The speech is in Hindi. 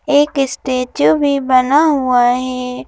एक स्टैचू भी बना हुआ है।